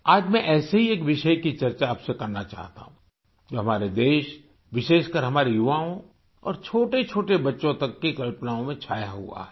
आज मैं ऐसे ही एक विषय की चर्चा आपसे करना चाहता हूँ जो हमारे देश विशेषकर हमारे युवाओं और छोटेछोटे बच्चों तक की कल्पनाओं में छाया हुआ है